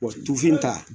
Wa tufin ta